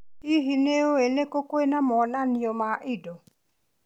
Hihi, nĩ ũĩ nĩ kũ kwĩna monanio ma indo?